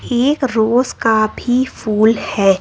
एक रोज का भी फूल है।